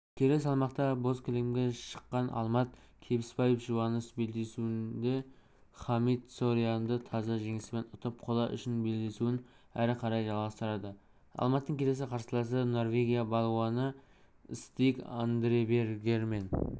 келі салмақта бозкілемге шыққаналмат кебіспаевжұбаныш белдесуіндехамид сориандытаза жеңіспен ұтып қола үшін белдесуін әрі қарай жалғастырады алматтың келесі қарсыласы норвегия балуаныстиг андребергемен